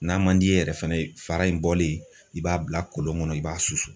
N'a man d'i ye yɛrɛ fɛnɛ ,fara in bɔlen, i b'a bila kolon kɔnɔ , i b'a susu.